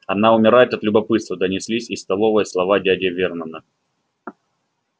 она умирает от любопытства донеслись из столовой слова дяди вернона